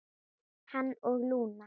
Hann og Lúna.